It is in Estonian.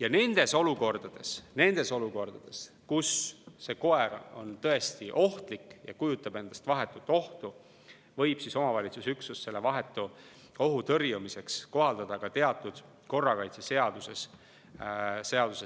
Ja nendes olukordades, kus mõni koer on tõesti ohtlik ja kujutab endast vahetut ohtu, võib omavalitsusüksus selle vahetu ohu tõrjumiseks kohaldada ka teatud korrakaitseseaduse